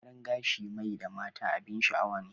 Gyaran gashi mai da mata abin sha'awa